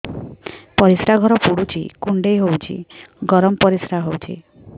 ପରିସ୍ରା ଘର ପୁଡୁଚି କୁଣ୍ଡେଇ ହଉଚି ଗରମ ପରିସ୍ରା ହଉଚି